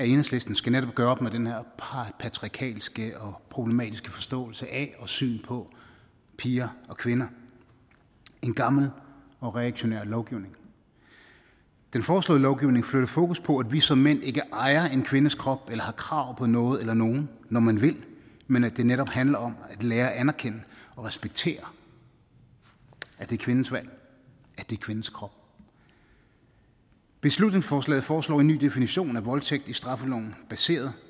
enhedslisten skal netop gøre op med den her patriarkalske og problematiske forståelse af og syn på piger og kvinder en gammel og reaktionær lovgivning den foreslåede lovgivning flytter fokus på at vi som mænd ikke ejer en kvindes krop eller har krav på noget eller nogen når man vil men at det netop handler om at lære at anerkende og respektere at det er kvindens valg at det er kvindens krop beslutningsforslaget foreslår en ny definition af voldtægt i straffeloven baseret